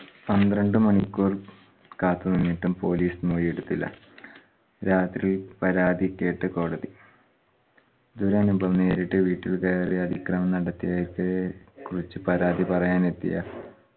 പന്ത്രണ്ട് മണിക്കൂർ കാത്തു നിന്നിട്ടും police മൊഴി എടുത്തില്ല. രാത്രി പരാതി കേട്ട് കോടതി ദുരനുഭവം നേരിട്ട് വീട്ടിൽ കേറി അതിക്രമം നടത്തിയിട്ട് കുളിച് പരാതി പറയാൻ എത്തിയ